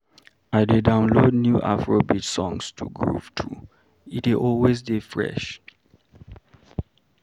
I dey download new Afrobeat songs to groove to, e dey always dey fresh.